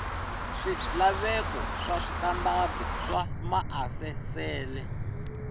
swilaveko swa switandati swa maasesele